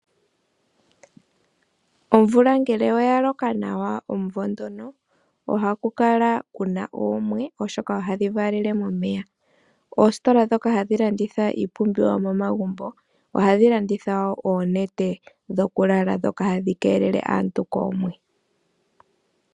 Omvula ngele oya loka nawa omvo ndono oha kukala kuna oomwe oshoka ohadhi valele momeya, ositola dhoka hadhi landitha iipumbiwa yomomagumbo oha dhilanditha wo oonete dhokulala dhoka hadhikelele aantu koomwe.